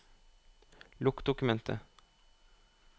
Lukk dokumentet